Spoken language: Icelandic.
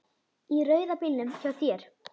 Í rauða bílnum hjá þér.